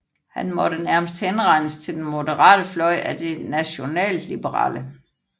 Han måtte nærmest henregnes til den moderate fløj af De Nationalliberale